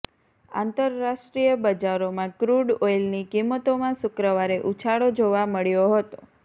આંતરરાષ્ટ્રીય બજારોમાં ક્રૂડ ઓઇલની કિંમતોમાં શુક્રવારે ઉછાળો જોવા મળ્યો હતો